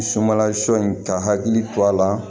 Sunbala sɔ in ka hakili to a la